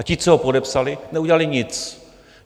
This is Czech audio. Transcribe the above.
A ti, co ho podepsali, neudělali nic.